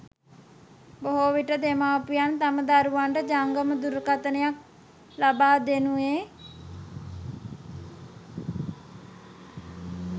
බොහෝ විට දෙමව්පියන් තම දරුවන්ට ජංගම දුරකථනයක් ලබා දෙනුයේ